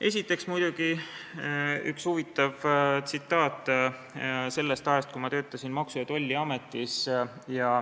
Esiteks üks huvitav tsitaat sellest ajast, kui ma töötasin Maksu- ja Tolliametis.